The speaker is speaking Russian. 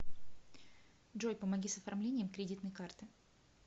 джой помоги с оформлением кредитной карты